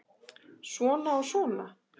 Svona og svona.